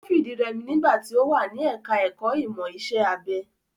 Ó fìdírẹmi nígbà tí ó wà ní ẹka ẹ̀kọ́ ìmọ̀ iṣẹ́ abẹ.